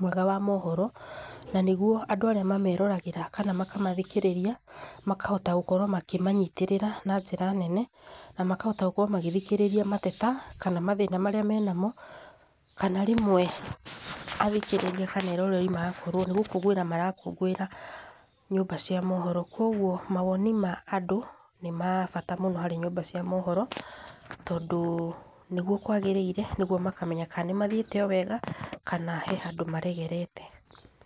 mwega wa mohoro, na nĩguo andũ arĩa mameroragĩra kana makamathikĩrĩria, makahota gũkorwo makĩmanyitĩrĩra na njĩra nene, na makahota gũkorwo magĩthikĩrĩria mateta, kana mathĩna marĩa mena mo. Kana rĩmwe athikĩrĩa kana eroreri magakorwo nĩ gũkũngũĩra marakũngũĩra nyũmba cia mohoro. Kuoguo mawoni ma andũ nĩ ma bata mũno harĩ nyũmba cia mohoro, tondũ nĩguo kwagĩrĩire, nĩguo makamenya kana nĩ mathiĩte o wega, kana he handũ maregerete.